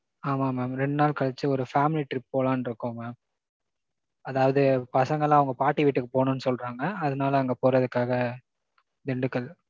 ஆமாம் mam ரெண்டு நாள் கழிச்சு ஒரு family trip போலான்ட்ருக்கோம் mam. அதாவது பசங்கெல்லாம், அவங்க பாட்டி வீட்டுக்கு போணும்ன்னு சொல்றாங்க. அதனால அங்க போறதுக்காக திண்டுக்கல்